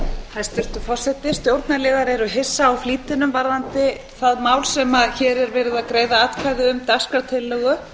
hæstvirtur forseti stjórnarliðar eru hissa á flýtinum varðandi það mál sem hér er verið að greiða atkvæði um dagskrártillögu að